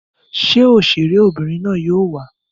Ṣé òṣèré obìnrin na yóò wà?